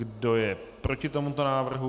Kdo je proti tomuto návrhu?